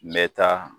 N bɛ taa